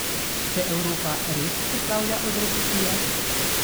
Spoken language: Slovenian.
Se Evropa res poslavlja od recesije?